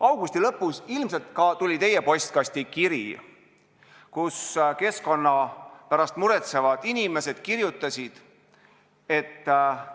Augusti lõpus tuli ilmselt ka teie postkasti kiri, milles keskkonna pärast muretsevad inimesed kirjutasid, et